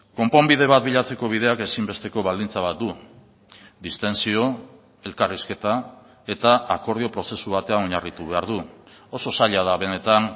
konponbide bat bilatzeko bideak ezinbesteko baldintza bat du distentsio elkarrizketa eta akordio prozesu batean oinarritu behar du oso zaila da benetan